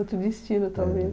Outro destino, talvez.